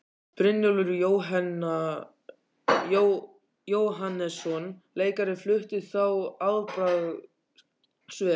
Brynjólfur Jóhannesson leikari flutti þá afbragðsvel.